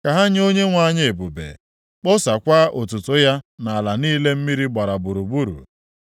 Ka ha nye Onyenwe anyị ebube, kpọsaakwa otuto ya nʼala niile mmiri gbara gburugburu.